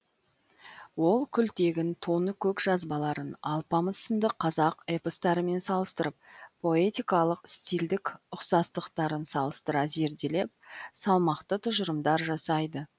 ол күлтегін тоныкөк жазбаларын алпамыс сынды қазақ эпостарымен салыстырып поэтикалық стильдік ұқсастықтарын салыстыра зерделеп салмақты тұжырымдар жасайды